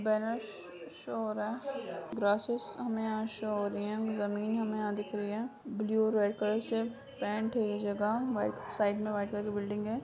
Banners show हो रहे हैं ड्रेसेस हमें यहाँ शो हो रही हैं जमीन हमें यहाँ दिख रही है ब्लू रेड कलर से पेंट है जगह साइड में व्हाइट कलर की बिल्डिंग है।